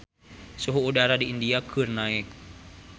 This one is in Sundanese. Suhu udara di India keur naek